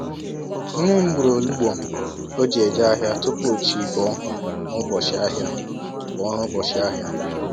Nne m gburu olugbu oji eje ahịa tupu chi bọọ n'ụbọchị ahịa. bọọ n'ụbọchị ahịa.